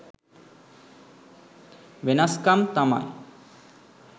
වෙනස් කම් තමයි.